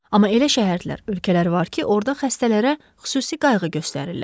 Amma elə şəhərlər, ölkələr var ki, orda xəstələrə xüsusi qayğı göstərirlər.